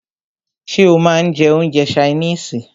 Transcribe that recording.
Ṣé o máà ń jẹ́ oúnjẹ ṣaínìisì?